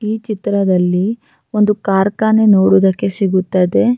ಈ ಚಿತ್ರದಲ್ಲಿ ಒಂದು ಕಾರ್ಖಾನೆ ನೋಡುವುದಕ್ಕೆ ಸಿಗುತ್ತದೆ.